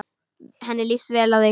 Henni líst vel á þig.